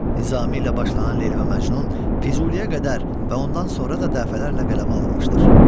Nizami ilə başlanan Leyli və Məcnun Füzuliyə qədər və ondan sonra da dəfələrlə qələmə alınmışdır.